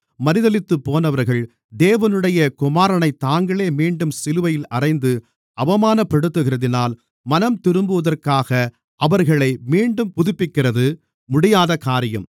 மறுதலித்துப்போனவர்கள் தேவனுடைய குமாரனைத் தாங்களே மீண்டும் சிலுவையில் அறைந்து அவமானப்படுத்துகிறதினால் மனந்திரும்புவதற்காக அவர்களை மீண்டும் புதுப்பிக்கிறது முடியாதகாரியம்